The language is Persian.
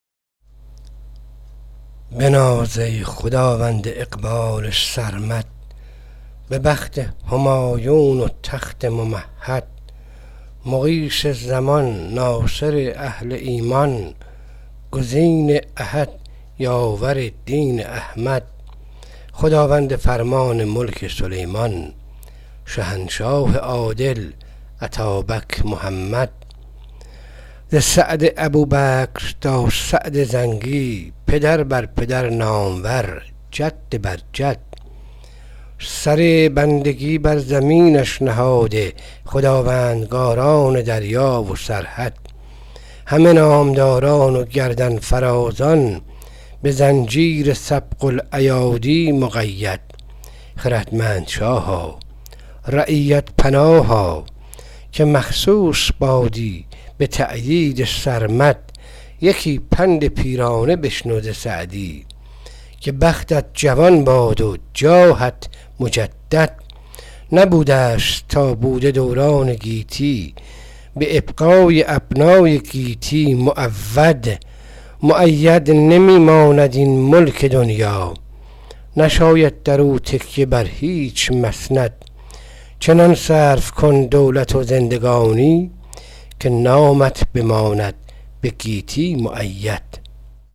بناز ای خداوند اقبال سرمد به بخت همایون و تخت ممهد مغیث زمان ناصر اهل ایمان گزین احد یاور دین احمد خداوند فرمان ملک سلیمان شهنشاه عادل اتابک محمد ز سعد ابوبکر تا سعد زنگی پدر بر پدر نامور جد بر جد سر بندگی بر زمینش نهاده خداوندگاران دریا و سرحد همه نامداران و گردن فرازان به زنجیر سبق الایادی مقید خردمند شاها رعیت پناها که مخصوص بادی به تأیید سرمد یکی پند پیرانه بشنو ز سعدی که بختت جوان باد و جاهت مجدد نبودست تا بوده دوران گیتی به ابقای ابنای گیتی معود مؤبد نمی ماند این ملک دنیا نشاید بر او تکیه بر هیچ مسند چنان صرف کن دولت و زندگانی که نامت به نیکی بماند مخلد